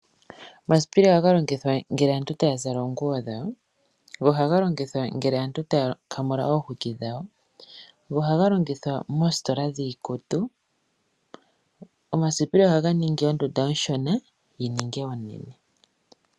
Omasipili ohaga longithwa ngele aantu taya zala oonguwo dhawo, ohaga longithwa ngele aantu taya kamula oomafufu gawo go ohaga longithwa moositola dhiikutu. Omasipili ohaga ningi ondunda oshona yi ninge onene.